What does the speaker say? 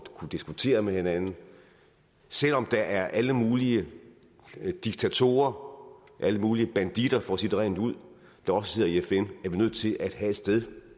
at kunne diskutere med hinanden selv om der er alle mulige diktatorer alle mulige banditter for at sige det rent ud der også sidder i fn er vi nødt til at have et sted